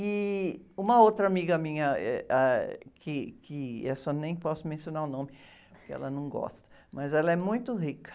E uma outra amiga minha, eh, ãh, que, que essa eu nem posso mencionar o nome, porque ela não gosta, mas ela é muito rica.